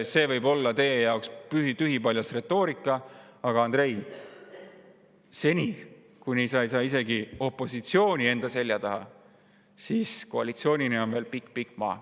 See võib olla teie jaoks tühipaljas retoorika, aga, Andrei, seni kuni sa ei saa isegi opositsiooni enda selja taha, on sul koalitsioonini veel pikk-pikk maa.